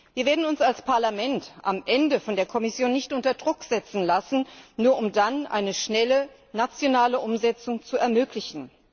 Wir werden uns als Parlament am Ende von der Kommission nicht unter Druck setzen lassen, nur um dann eine schnelle nationale Umsetzung zu ermöglichen.